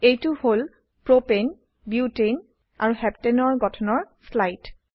এইটো হল propane propane butane butane আৰু হেপ্তানে হেপ্টেন এৰ গঠনৰ স্লাইড